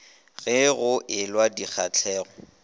ge go e lwa dikgahlego